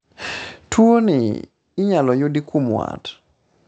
tuoni inyalo yudi kuom wat